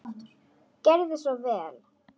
Gerið svo vel!